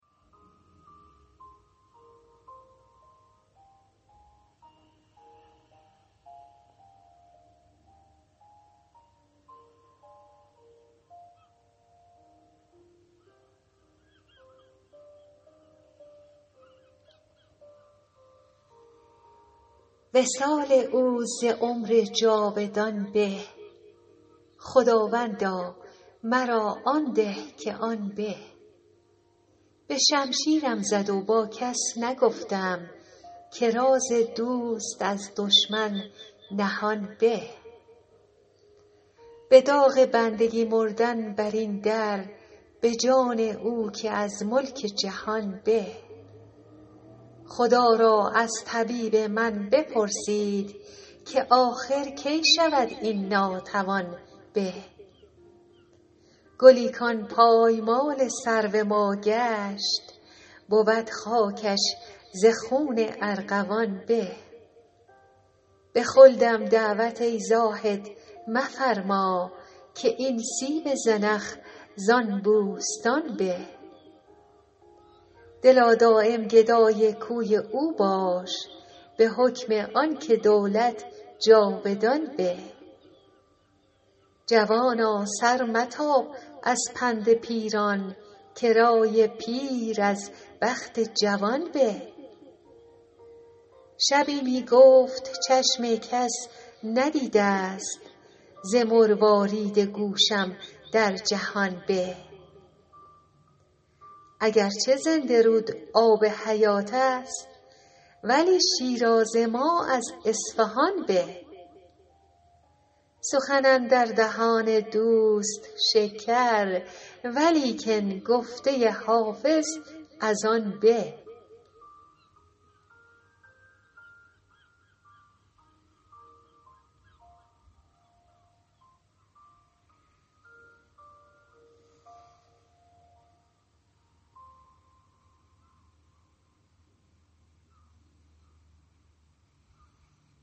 وصال او ز عمر جاودان به خداوندا مرا آن ده که آن به به شمشیرم زد و با کس نگفتم که راز دوست از دشمن نهان به به داغ بندگی مردن بر این در به جان او که از ملک جهان به خدا را از طبیب من بپرسید که آخر کی شود این ناتوان به گلی کان پایمال سرو ما گشت بود خاکش ز خون ارغوان به به خلدم دعوت ای زاهد مفرما که این سیب زنخ زان بوستان به دلا دایم گدای کوی او باش به حکم آن که دولت جاودان به جوانا سر متاب از پند پیران که رای پیر از بخت جوان به شبی می گفت چشم کس ندیده ست ز مروارید گوشم در جهان به اگر چه زنده رود آب حیات است ولی شیراز ما از اصفهان به سخن اندر دهان دوست شکر ولیکن گفته حافظ از آن به